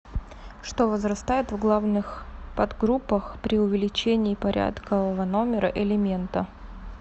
что возрастает в главных подгруппах при увеличении порядкового номера элемента